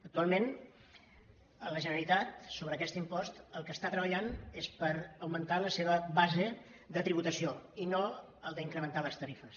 actualment la generalitat sobre aquest impost pel que està treballant és per augmentar la seva base de tributació i no incrementar ne les tarifes